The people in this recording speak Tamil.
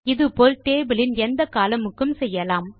இது போல் டேபிள் இன் எந்த columnக்கும் செய்யலாம்